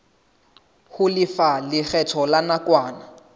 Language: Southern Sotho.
ho lefa lekgetho la nakwana